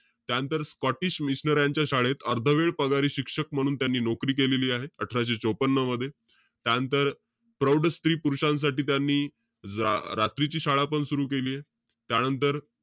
त्यानंतर स्कॉटिश मिशनऱ्यांच्या शाळेत, अर्धवेळ पगारी शिक्षक म्हणून त्यांनी नोकरी केलेली आहे. अठराशे चोपन्न मध्ये. त्यानंतर, प्रौढ स्त्री-पुरुषांसाठी त्यांनी, रा~ रात्रीची शाळा पण सुरु केलीय. त्यानंतर,